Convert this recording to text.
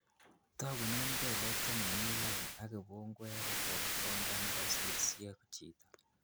Togunen kelek chemomi lain ak ipungweret en konda nekosirsie chito.